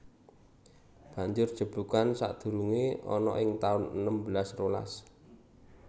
Banjur jeblugan sadurungé ana ing taun enem belas rolas